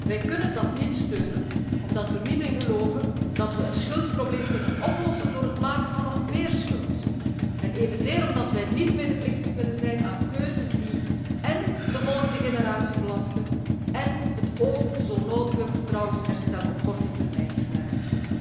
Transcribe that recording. Wij kunnen dat niet steunen, omdat we er niet in geloven dat we het schuldprobleem kunnen oplossen door het maken van nog meer schuld, en evenzeer omdat wij niet medeplichtig willen zijn aan keuzes die én de volgende generatie belasten én het o zo nodige vertrouwensherstel op korte termijn fnuiken.